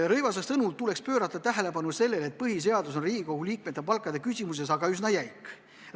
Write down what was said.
Rõivase sõnul tuleks pöörata tähelepanu sellele, et põhiseadus on Riigikogu liikmete palkade küsimuses üsna jäik.